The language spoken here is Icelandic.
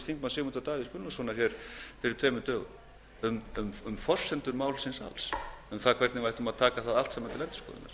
þingmanns sigmundar davíðs gunnlaugssonar hér fyrir tveimur dögum um forsendur málsins alls um það hvernig við ættum að taka það allt saman til endurskoðunar